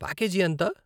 Package ఎంత?